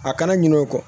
A kana ɲina o ye kɔ